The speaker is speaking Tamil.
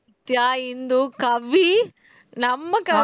நித்யா, இந்து, கவி நம்ம கவி